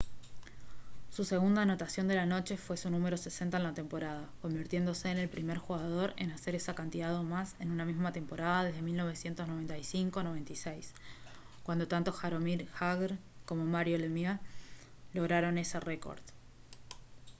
su segunda anotación de la noche fue su número 60 en la temporada convirtiéndose en el primer jugador en hacer esa cantidad o más en una misma temporada desde 1995- 96 cuando tanto jaromir jagr como mario lemieux lograron ese récord